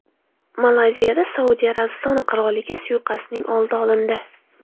Malayziyada Saudiya Arabistoni qiroliga suiqasdning oldi olindi.